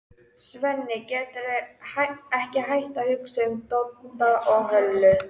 Svenni getur ekki hætt að hugsa um Dodda og Höllu.